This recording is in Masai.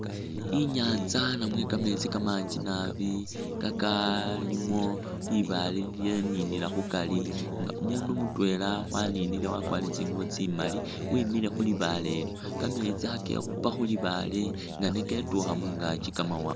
Inyanza namwe kameetsi kamanji naabi kakalimo libaale lilyaninila khukari nga umundu mutwela waninile wakwalire tsingubo tsimaali wemile khulibaale lyo, kameetsi khakekhupa khulibaale nga ne ketukha mungaki kamawaanga